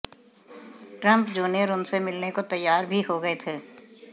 Trump junior उनसे मिलने को तैयार भी हो गए थे